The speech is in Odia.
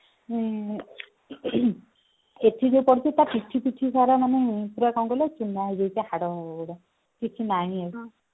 ଏଥି ଯୋଉ ପଡିଛି ତା ପିଠି ପିଠି ପୁରା ତାର ମାନେ ପୁରା କଣ କହିଲ ଚୂନା ହେଇଯାଇଛି ହାଡ ଗୁଡ କିଛି ନାହିଁ ଆଉ